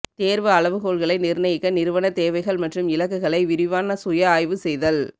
தேர்வு அளவுகோல்களை நிர்ணயிக்க நிறுவன தேவைகள் மற்றும் இலக்குகளை விரிவான சுய ஆய்வு செய்தல்